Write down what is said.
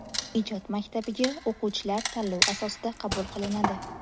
Ijod maktabiga o‘quvchilar tanlov asosida qabul qilinadi.